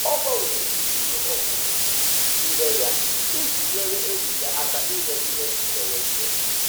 Ọ gbanwere usoro ọmụmụ ihe ya iji nyere enyi ya aka inwe ihe mberede.